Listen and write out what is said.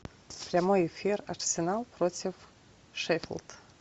прямой эфир арсенал против шеффилд